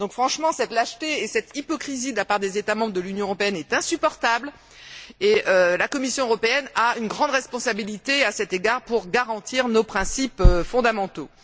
Franchement, cette lâcheté et cette hypocrisie de la part des États membres de l'Union européenne est insupportable et la Commission européenne a une grande responsabilité à cet égard pour garantir nos principes fondamentaux.